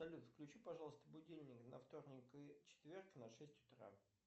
салют включи пожалуйста будильник на вторник и четверг на шесть утра